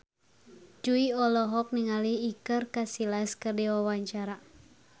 Jui olohok ningali Iker Casillas keur diwawancara